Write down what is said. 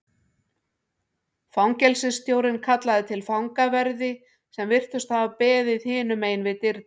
Fangelsisstjórinn kallaði til fangaverði sem virtust hafa beðið hinum megin við dyrnar.